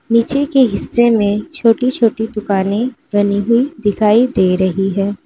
नीचे के हिस्से में छोटी छोटी दुकानें बनी हुई दिखाई दे रही हैं।